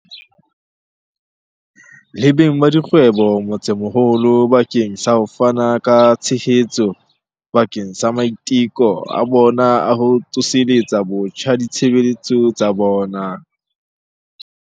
Le beng ba dikgwebo motsemoholo bakeng sa ho fana ka tshehetso bakeng sa maiteko a bona a ho tsoseletsa botjha ditshebetso tsa bona.